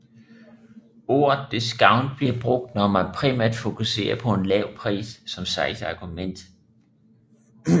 Ordet discount bliver brugt når man primært fokuserer på en lav pris som salgsargument